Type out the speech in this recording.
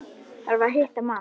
Þarf að hitta mann.